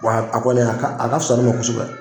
Wa a kɔni a ka a ka fusa ne ma kosɛbɛ.